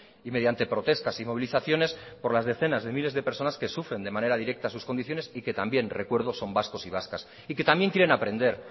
y mediante protestas y movilizaciones por las decenas de miles de personas que sufren de manera directa sus condiciones y que también recuerdo son vascos y vascas y que también quieren aprender